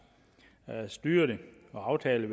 styre det og aftale